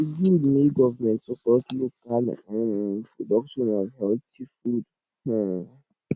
e good make government support local um production of healthy food um